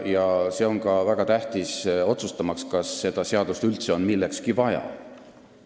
See on väga tähtis ka otsustamaks, kas seda seadust üldse on millekski vaja.